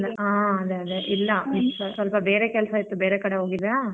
ಹ್ಮ್ ಅದೇ ಅದೇ ಇಲ್ಲ ಸ್ವಲ್ಪ ಬೇರೆ ಕೆಲ್ಸ ಇತ್ತು ಬೇರೆ ಕಡೆ ಹೋಗಿದ್ದೆ.